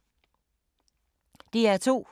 DR2